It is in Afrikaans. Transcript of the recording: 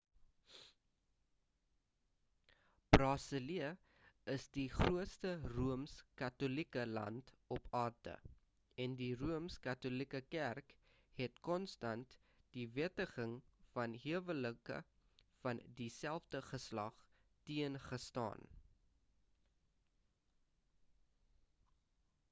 brazilië is die grootste rooms-katolieke land op aarde en die rooms-katolieke kerk het konstant die wettiging van huwelike van dieselfde geslag teen gestaan